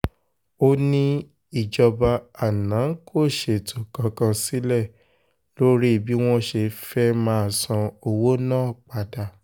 ó ní ìjọba àná kò ṣètò kankan sílẹ̀ lórí bí wọ́n ṣe fẹ́ẹ́ máa san owó náà padà